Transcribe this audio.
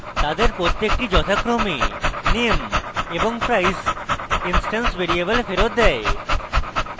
তাদের প্রত্যেকটি যথাক্রমে name এবং price instance ভ্যারিয়েবল ফেরৎ দেয়